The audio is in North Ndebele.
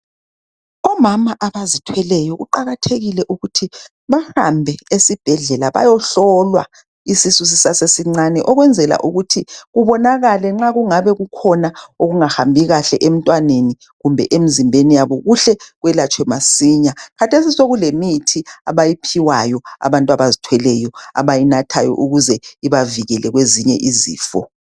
omama abazithweleyo kuqakathekile ukuthi bahambe esibhedlela bayohlolwa isisu sisasesincane ukwenzela ukuthi kubonakale nxa kungabe kukhona okungahambi kahle emntwaneni kumbe emzimbeni yabo kuhle kwelatshwe masinya khathesi sokulemithi abayiphiwayo abantu abazithweleyo abayinathayo ukuze ibavikele kwezinye izifo